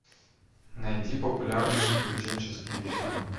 найди популярные приключенческие фильмы